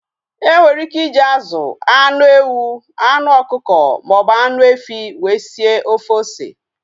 Enwere ike iji azụ, anụ ewu, anụ ọkụkọ maọbụ anụ efi wee sie ofe ose